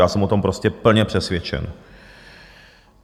Já jsem o tom prostě plně přesvědčen.